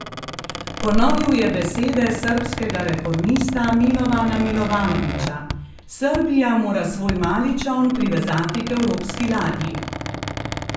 Ponovil je besede srbskega reformista Milovana Milovanovića: "Srbija mora svoj mali čoln privezati k evropski ladji.